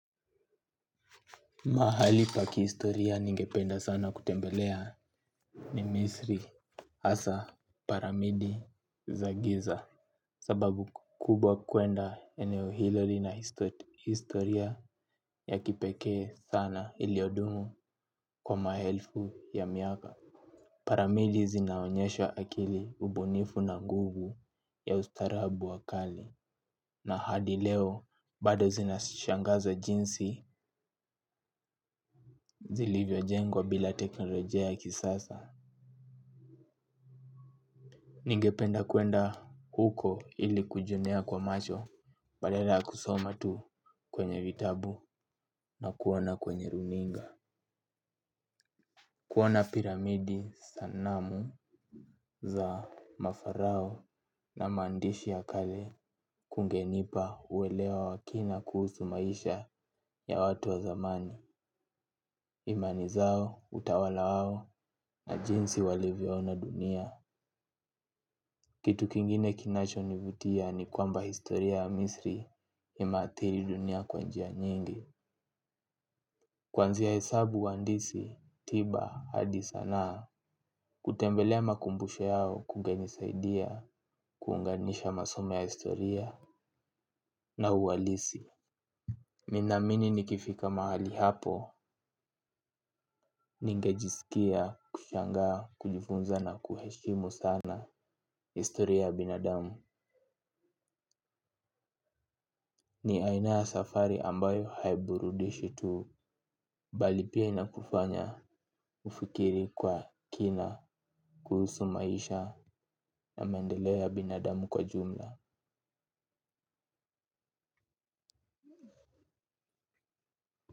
Mahali pa kihistoria ningependa sana kutembelea ni Misri, hasa, Paramidi, Za giza. Sababu kubwa kuenda eneo hilo lina historia ya kipekee sana iliyodumu kwa maelfu ya miaka. Paramidi zinaonyesha akili ubunifu na nguvu ya ustaarabu wa kale. Na hadi leo bado zinashangaza jinsi zilivyojengwa bila teknolojia ya kisasa. Ningependa kuenda huko ili kujionea kwa macho. Badala ya kusoma tu kwenye vitabu na kuona kwenye runinga. Kuona piramidi sanamu za mafarao na maandishi ya kale kungenipa uelewa wa kina kuhusu maisha ya watu wa zamani. Imani zao, utawala wao, na jinsi walivyoona dunia. Kitu kingine kinachonivutia ni kwamba historia ya misri imeathiri dunia kwa njia nyingi. Kuanzia hesabu handisi, tiba, hadi sanaa. Kutembelea makumbusho yao kungenisaidia, kuunganisha masomo ya historia na uhalisi. Ninaamini nikifika mahali hapo, ningejisikia, kushangaa, kujifunza na kuheshimu sana historia ya binadamu. Ni aina ya safari ambayo haiburudishi tu bali pia inakufanya ufikiri kwa kina kuhusu maisha na maendeleo ya binadamu kwa jumla.